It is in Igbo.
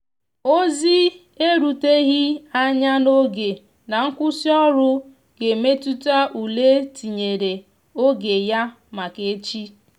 emere ka ndi ọha mara n'azu oge n' ndi ọrụ idebe obodo ocha n'eme njegharị iwe maka iwụ na ekwesighi ekwesi.